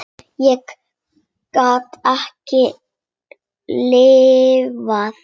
Ég get ekki lifað.